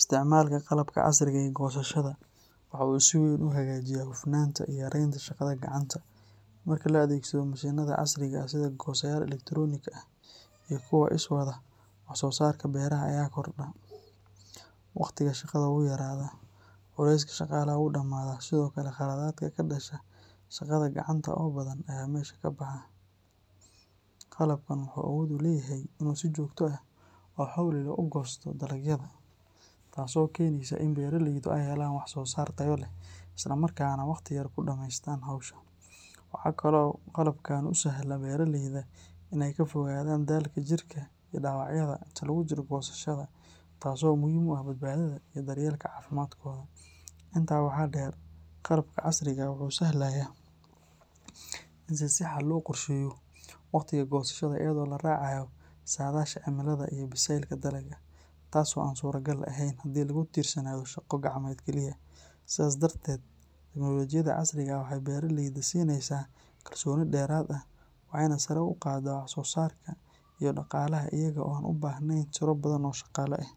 Isticmaalka qalabka casriga ah ee goosashada waxa uu si weyn u hagaajiyaa hufnaanta iyo yareynta shaqada gacanta. Marka la adeegsado mashiinada casriga ah sida goosayaal elektaroonig ah iyo kuwa iswada, wax-soosaarka beeraha ayaa kordha, waqtiga shaqada wuu yaraadaa, culayska shaqaalaha wuu dhamaaadaa, sidoo kale khaladaadka ka dhasha shaqada gacanta oo badan ayaa meesha ka baxa. Qalabkan wuxuu awood u leeyahay in uu si joogto ah oo xawli leh u goosto dalagyada, taasoo keeneysa in beeraleydu ay helaan wax-soosaar tayo leh isla markaana waqti yar ku dhamaystaan hawsha. Waxa kale oo uu qalabkani u sahlaa beeraleyda in ay ka fogaadaan daalka jirka iyo dhaawacyada inta lagu jiro goosashada, taasoo muhiim u ah badbaadada iyo daryeelka caafimaadkooda. Intaa waxaa dheer, qalabka casriga ah wuxuu sahlayaa in si sax ah loo qorsheeyo waqtiga goosashada iyadoo la raacayo saadaasha cimilada iyo bisaylka dalagga, taas oo aan suuragal ahayn haddii lagu tiirsanaado shaqo gacmeed keliya. Sidaas darteed, tiknoolajiyada casriga ah waxay beeraleyda siinaysaa kalsooni dheeraad ah, waxayna sare u qaadaa wax-soo-saarka iyo dhaqaalaha iyaga oo aan u baahnayn tiro badan oo shaqaale ah.